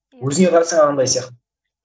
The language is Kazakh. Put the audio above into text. өзіңе қарасаң анандай сияқты